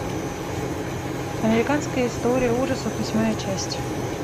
американская история ужасов восьмая часть